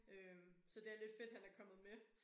Øh så det er lidt fedt han er kommet med